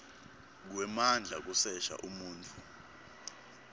kwemandla kusesha umuntfu